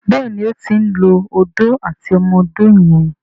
Béèni o tin ló Odó àti ọmọ odó yen.